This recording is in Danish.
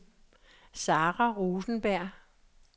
Sara Rosenberg